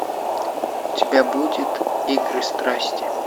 у тебя будет игры страсти